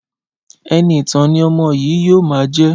Ẹniìtàn ni ọmọ yìí yóò máa jẹ́!